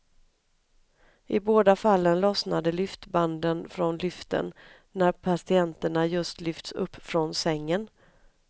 I båda fallen lossnade lyftbanden från lyften när patienterna just lyfts upp från sängen.